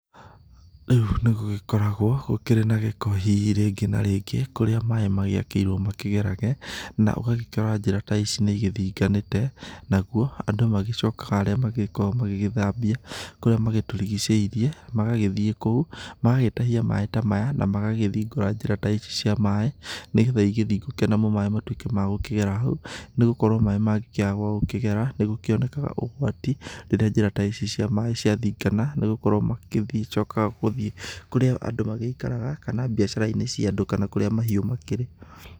Rĩũ nĩ gũgĩkoragwo gũkĩrĩ na gĩko hihi rĩngĩ na rĩngĩ, kũrĩa maaĩ magĩakĩirwo makĩgerage, na ũgakĩrora njĩra ta ici nĩ igithinganĩte nagũo andũ nĩ magĩcokaga arĩa magagĩ koragwo magĩthabia kũrĩa magĩtũrigicĩirie, magagĩthie kũu, magagĩtahia maaĩ maya na magahingũra njĩra ta ici cia maaĩ, nĩgetha ĩgĩthingũke namo maaĩ matũĩke magũkĩgera hau, nĩgũkorwo maaĩ mangĩkĩaga kwa gũkĩgera nĩgũgĩkĩonega ũgwati , rĩrĩa njĩra ta ici cia maaĩ ciathingana nĩgũkorwo magĩcoka gũthii kũrĩa andũ magĩikaraga, kana biacara-inĩ cia andũ kana kũrĩa mahiũ makĩrĩ.